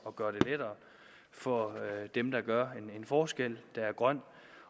at gøre det lettere for dem der gør en forskel der er grøn